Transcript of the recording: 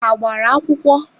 Ha gbara akwụkwọ?